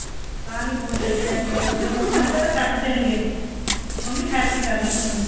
ਤਾਂ ਨਹੀਂ ਫੋਨ ਚੱਕਿਆ ਹੈਗਾ ਜ਼ੇ ਫੋਨ ਆਏਗਾ ਤਾਂ ਕੱਟ ਦੇਣਗੇ ਮੰਮੀ ਠੇਰਕੇ ਕਰਲੀ ਫੋਨ